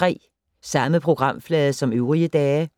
Samme programflade som øvrige dage